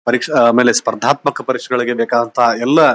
ಪರೀಕ್ಷೆ ಎಲ್ಲಾ ಆದಮೇಲೆ ಸ್ಪರ್ಧಾತ್ಮಕ ಪರೀಕ್ಷೆಗಳಿಗೆ ಬೇಕಾದಂತಹ ಎಲ್ಲಾ--